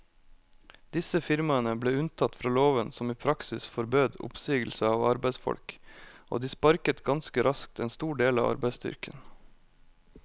Disse firmaene ble unntatt fra loven som i praksis forbød oppsigelse av arbeidsfolk, og de sparket ganske raskt en stor del av arbeidsstyrken.